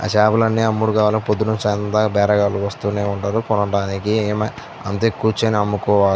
ఆ చేపలు లన్ని అమ్ముగూడుగావల్ల పొద్దినించి సాయంత్రం దాక బేరగాలు వస్తూనే ఉంటారు కొనడానికి అంతే కుచ్చోని అమ్ముకోవాలి --